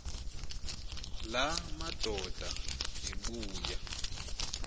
la madoda ebuya